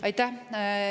Aitäh!